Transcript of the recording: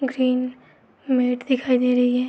दिखाई दे रही है।